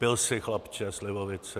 Pil jsi chlapče slivovici?